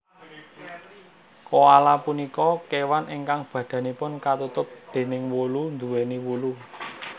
Koala punika kéwan ingkang badanipun katutup déning wulu nduwèni wulu